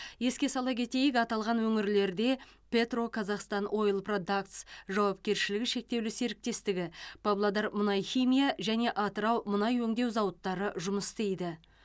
еске сала кетейік аталған өңірлерде петроказахстан ойл продактс жауапкершілігі шектеулі серіктестігі павлодар мұнай химия және атырау мұнай өңдеу зауыттары жұмыс істейді